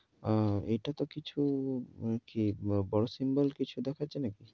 অ্যা এটাতো কিছু, কি বড় symbol কিছু দেখাচ্ছে নাকি?